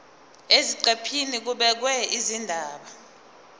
eziqephini kubhekwe izindaba